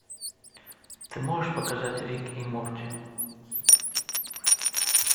ты можешь показать рик и морти